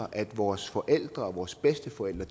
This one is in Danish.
at vores forældre og vores bedsteforældre